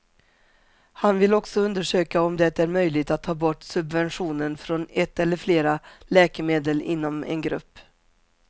Han vill också undersöka om det är möjligt att ta bort subventionen från ett eller flera läkemedel inom en grupp.